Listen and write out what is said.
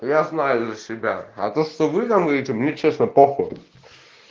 я знаю за себя а то что вы нам даёте мне честно похую